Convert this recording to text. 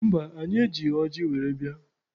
Mba, anyị ejighị ọjị were bịa.